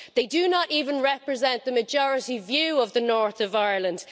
They do not even represent the majority view of the North of Ireland.